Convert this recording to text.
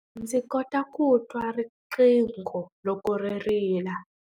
Ndzi kota ku twa riqingho loko ri rila.